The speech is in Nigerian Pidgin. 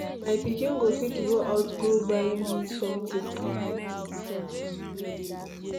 My pikin go fit go out go buy me something.